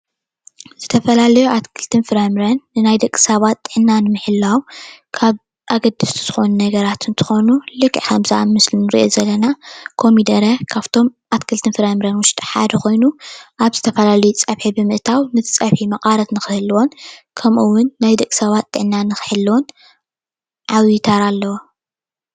ዝተፈላለዩ ኣትክልትን ፍራምረን ንናይ ደቂ ሰባት ጥዕና ንምሕላው ካብ ኣገደስቲ ዝኮኑ ነገራት እንትኮኑ ልክዕ ከምዚ ኣብ ምስሊ እንሪኦ ዘለና ኮሚደረ ካብቶም ኣትክልትን ፍራምረ ውሽጢ ሓደ ኮይኑ ኣብ ዝተፈላለየ ፀብሒ ብምእታው ንፀብሒ ምቃረት ንክህልዎን ከምኡ እውን ናይ ደቂ ሰባት ጥዕና ንክሕልውን ዓብይ ተራ ኣለዎ፡፡